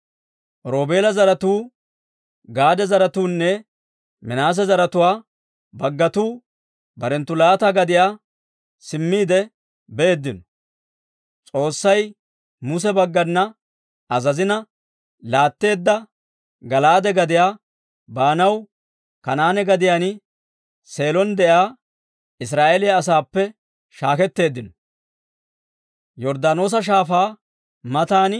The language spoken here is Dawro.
Roobeela zaratuu, Gaade zaratuunne Minaase zaratuwaa baggatuu barenttu laata gadiyaa simmiide beeddino. S'oossay Muse baggana azazina laatteedda Gala'aade gadiyaa baanaw, Kanaane gadiyaan Seelon de'iyaa Israa'eeliyaa asaappe shaaketteeddino.